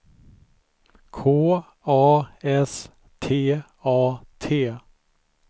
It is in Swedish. K A S T A T